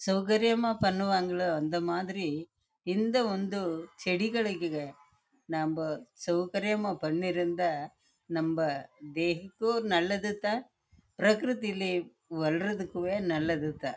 சௌகரியம்மா அந்த மேரி பனுவங்களே நம்மளும் சௌகரியம்மா